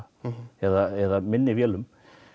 eða minni vélum